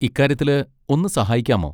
ഇക്കാര്യത്തില് ഒന്ന് സഹായിക്കാമോ?